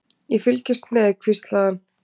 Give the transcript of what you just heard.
Ég fylgist með, hvíslaði hann.